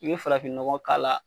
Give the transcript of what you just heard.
I be farafin nɔgɔ k'a la